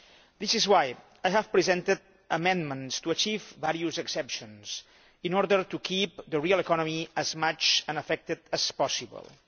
This is why I have presented amendments to achieve various exceptions in order to keep the real economy as unaffected as possible.